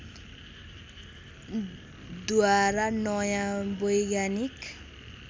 द्वारा नयाँ वैज्ञानिक